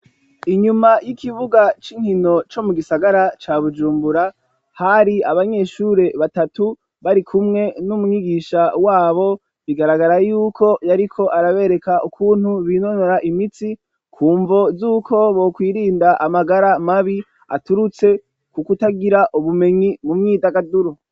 Inyuma y'ikibuga c'inkino co mu gisagara ca bujumbura hari abanyeshure batatu bari kumwe n'umwigisha wabo bigaragara yuko yariko arabereka ukuntu binonora imitsi ku mvo z'uko bokwirinda amagara mabi aturutse, kuko utagira ubumenyi mumyita agaduru.